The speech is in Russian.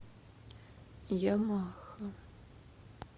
ямаха